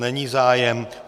Není zájem.